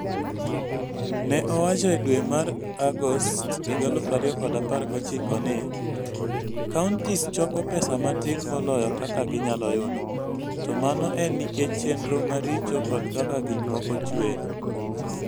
Ne owacho e dwe mar Agost 2019 ni, "Counties choko pesa matin moloyo kaka ginyalo yudo, to mano en nikech chenro maricho kod kaka gik moko chuer".